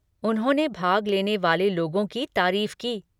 उन्होंने भाग लेने वाले लोगों की तारीफ की।